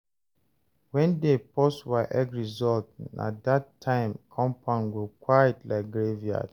When dem post WAEC result, na that time compound go quiet like graveyard.